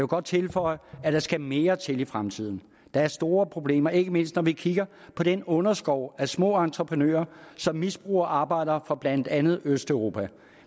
godt tilføje at der skal mere til i fremtiden der er store problemer ikke mindst når vi kigger på den underskov af små entreprenører som misbruger arbejdere fra blandt andet østeuropa